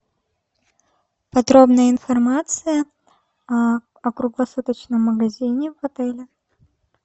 подробная информация о круглосуточном магазине в отеле